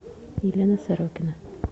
елена сорокина